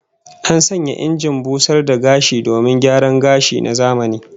An sanya injin busar da gashi domin gyaran gashi na zamani